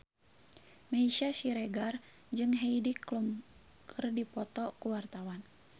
Meisya Siregar jeung Heidi Klum keur dipoto ku wartawan